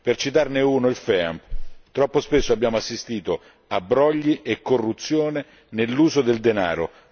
Per citarne uno il FEAM, troppo spesso abbiamo assistito a brogli e corruzione nell'uso del denaro.